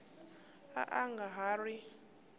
a a nga ha ri